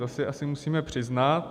To si asi musíme přiznat.